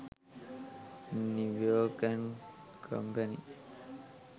new york and company